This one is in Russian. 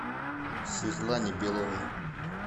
светлане беловой